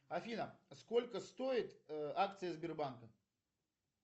афина сколько стоят акции сбербанка